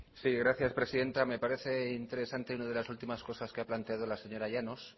sí gracias presidenta me parece interesante una de las últimas cosas que ha planteado la señora llanos